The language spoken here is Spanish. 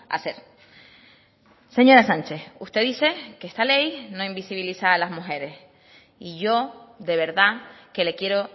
hacer señora sánchez usted dice que esta ley no invisibiliza a las mujeres y yo de verdad que le quiero